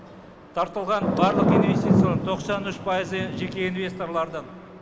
тартылған барлық инвестициялардың тоқсан үш пайызы жеке инвесторлардың